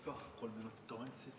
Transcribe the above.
Jah.